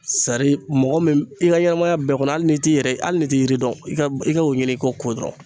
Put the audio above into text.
mɔgɔ min i ka ɲɛnamaya bɛɛ kɔnɔ hali n'i t'i yɛrɛ ye hali n'i t'i yiri dɔn i ka i ka o ɲini k'o ko dɔrɔn.